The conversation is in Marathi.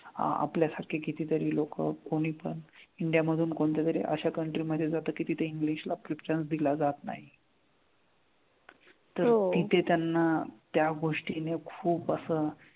आ आपल्यासारखे किती तरी लोकं कोणी पण इंडिया मधून कोणत्या तरी अश्या country मधे जातात की तिथे इंग्लिश ला preference दिला जात नाही तर तिथे त्यांना त्या गोष्टीने खूप असं,